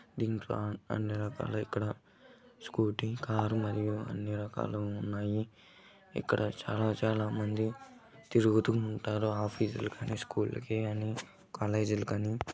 దీంట్లో అన్ని రకాల ఇక్కడ స్కూటీ కారు మరియు అన్ని రకాలు ఉన్నాయి ఇక్కడ చాలా చాలా మంది తిరుగుతూ ఉంటారు ఆఫీసుల గాని స్కూల్లో కి గాని కాలేజీ ల గాని.